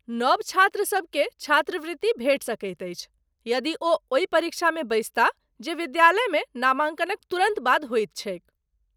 नव छात्रसभ केँ छात्रवृत्ति भेटि सकैत अछि यदि ओ ओहि परीक्षामे बैसताह जे विद्यालयमे नामाँकनक तुरन्त बाद होइत छैक ।